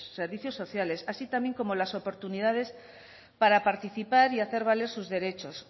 servicios sociales así también como las oportunidades para participar y hacer valer sus derechos